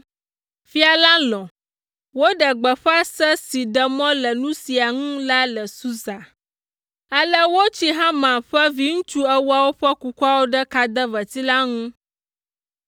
Fia la lɔ̃, woɖe gbeƒã se si ɖe mɔ le nu sia ŋu la le Susa. Ale wotsi Haman ƒe viŋutsu ewoawo ƒe kukuawo ɖe kadeveti la ŋu.